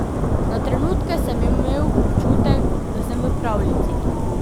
Na trenutke sem imel občutek, da sem v pravljici.